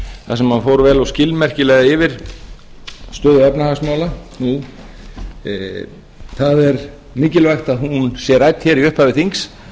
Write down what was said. fór vel og skilmerkilega yfir stöðu efnahagsmála nú það er mikilvægt að hún sé rædd hér í upphafi þings